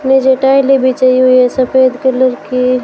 नीचे टाइलें बिछी हुई है सफेद कलर की--